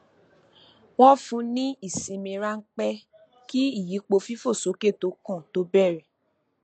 wọn fún ní ìsinmi ránpẹ kí ìyípo fífòsókè tó kàn tó bẹrẹ